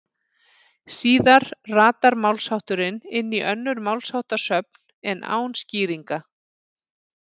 Síðar ratar málshátturinn inn í önnur málsháttasöfn en án skýringa.